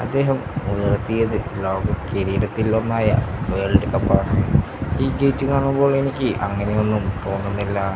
അദ്ദേഹം ഉയർത്തിയത് ലോക കിരീടത്തിൽ ഒന്നായ വേൾഡ് കപ്പാണ് ഈ ഗേറ്റ് കാണുമ്പോൾ എനിക്ക് അങ്ങനെയൊന്നും തോന്നുന്നില്ല.